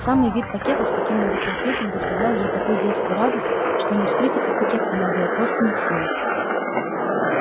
самый вид пакета с каким-нибудь сюрпризом доставлял ей такую детскую радость что не вскрыть этот пакет она была просто не в силах